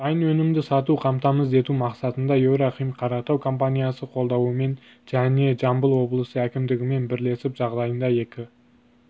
дайын өнімді сатуды қамтамыз ету мақсатында еврохим-қаратау компаниясы қолдауымен және жамбыл облысы әкімдігімен бірлесіп жағдайында екі